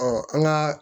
an ka